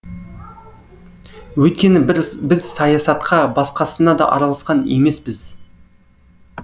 өйткені біз саясатқа басқасына да араласқан емеспіз